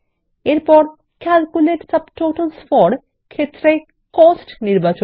এরপর calculate subtotals for ক্ষেত্রে cost বিকল্প ক্লিক কর